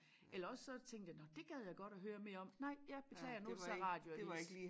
Eller også så tænkte jeg nå dét gad jeg godt at høre mere om nej ja beklager nu det så radioavis